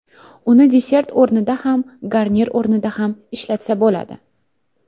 Uni desert o‘rnida ham garnir o‘rnida ham ishlatsa bo‘ladi.